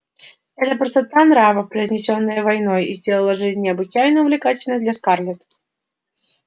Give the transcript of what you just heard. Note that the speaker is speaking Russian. эта простота нравов произнесённая войной и сделала жизнь необычайно увлекательной для скарлетт